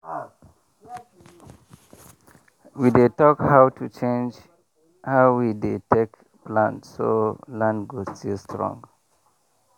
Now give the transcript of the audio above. we dey talk how to change how we dey take plant so land go still strong.